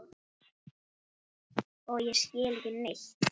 Og ég skil ekki neitt.